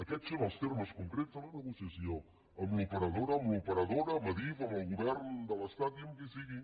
aquests són els termes concrets de la negociació amb l’operadora amb l’operadora amb adif amb el govern de l’estat i amb qui sigui